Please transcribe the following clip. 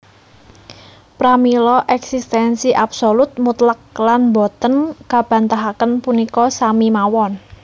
Pramila éksistensi absolut mutlak lan boten kabantahaken punika sami mawon